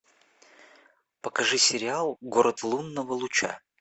покажи сериал город лунного луча